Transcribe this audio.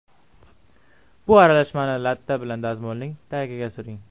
Bu aralashmani latta bilan dazmolning tagiga suring.